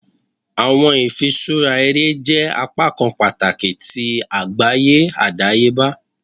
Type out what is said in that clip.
Awọn ifiṣura ere jẹ apakan pataki ti agbaye adayeba.